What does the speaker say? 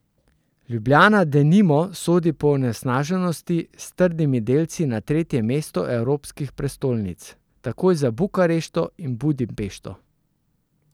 Ljubljana, denimo, sodi po onesnaženosti s trdnimi delci na tretje mesto evropskih prestolnic, takoj za Bukarešto in Budimpešto.